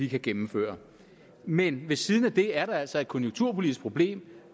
kan gennemføre men ved siden af det er der altså et konjunkturpolitisk problem